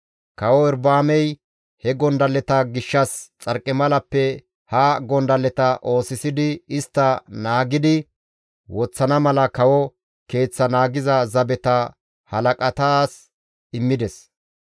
Kawo Erobi7aamey he gondalleta gishshas xarqimalappe ha gondalleta oosisidi istta naagidi woththana mala kawo keeththaa naagiza zabeta halaqatas immides.